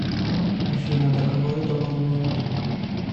афина да кого это волнует